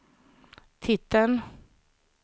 titeln